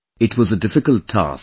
It was a difficult task